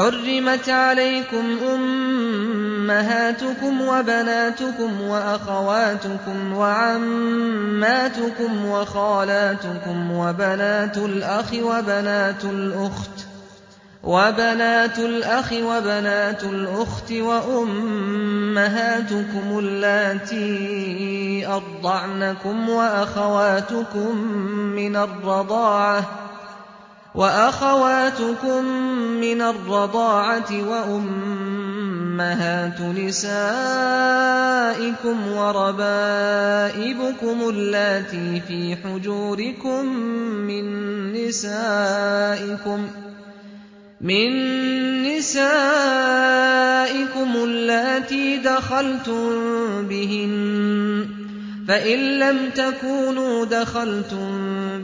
حُرِّمَتْ عَلَيْكُمْ أُمَّهَاتُكُمْ وَبَنَاتُكُمْ وَأَخَوَاتُكُمْ وَعَمَّاتُكُمْ وَخَالَاتُكُمْ وَبَنَاتُ الْأَخِ وَبَنَاتُ الْأُخْتِ وَأُمَّهَاتُكُمُ اللَّاتِي أَرْضَعْنَكُمْ وَأَخَوَاتُكُم مِّنَ الرَّضَاعَةِ وَأُمَّهَاتُ نِسَائِكُمْ وَرَبَائِبُكُمُ اللَّاتِي فِي حُجُورِكُم مِّن نِّسَائِكُمُ اللَّاتِي دَخَلْتُم بِهِنَّ فَإِن لَّمْ تَكُونُوا دَخَلْتُم